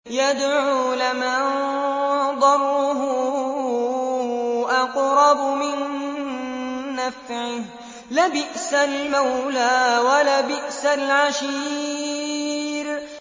يَدْعُو لَمَن ضَرُّهُ أَقْرَبُ مِن نَّفْعِهِ ۚ لَبِئْسَ الْمَوْلَىٰ وَلَبِئْسَ الْعَشِيرُ